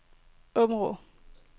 Aabenraa